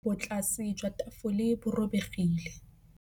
Botlasê jwa tafole bo robegile.